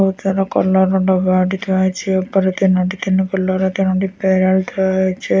Ujala colour ର ଦବା ଏଠି ଥୁଆ ହେଇଚି ଉପରେ ତିନୋଟି ତିନି କଲର ର ତିନୋଟି ପ୍ରେରାଲ ଥ୍ରୋ ରହିଚି।